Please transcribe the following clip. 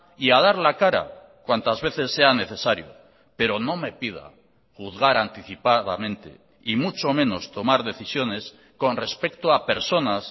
y a dar la cara cuantas veces sea necesario pero no me pida juzgar anticipadamente y mucho menos tomar decisiones con respecto a personas